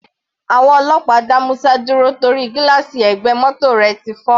Àwọn ọlọ́pàá dá Musa dúró torí gílààsì ẹ̀gbẹ́ mótò rẹ̀ ti fọ́.